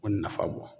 O nafa bɔ